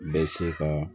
Bɛ se ka